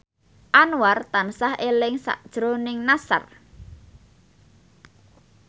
Anwar tansah eling sakjroning Nassar